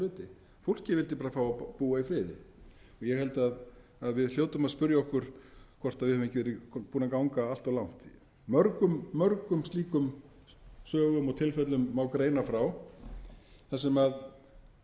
hluti fólkið vildi bara fá að búa í friði ég held að við hljótum að spyrja okkur hvort við höfum ekki verið búin að ganga allt of langt mörgum mörgum slíkum sögum og tilfellum má greina frá þar sem í